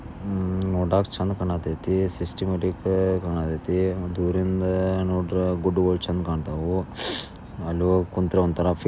ಆ ನೋಡಾಕಿ ಚಂದ ಕಾಣಿಸ್ತಾಯ್ದೆ ಸಿಸ್ಟಮಟ್ಟಿಗೆ ಕಾಣಕತೈತಿ ಒಂದು ಊರಿಂದ ನೋಡಿದ್ರೆ ಗುಡ್ಡಗಳು ಚೆನ್ನಾಗಿ ಕಾಣ್ತಾವೋ ಅಲ್ಲಿ ಹೋಗಿ ಕುಂತರೆ ಒಂತರ ಫೀಲ್--